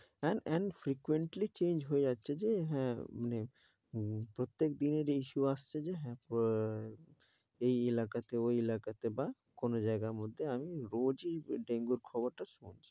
and and frequently change হয়ে যাচ্ছে যে হ্যাঁ মানে প্রত্যেক দিনের এই show আসছে যে প~ এই এলাকাতে ওই এলাকাতে বা কোন জায়গার মধ্যে আমি রোজই dengue র খবরটা শুনছি।